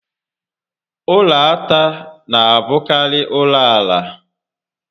Ụlọ átá n'abụkarị ụlọ ala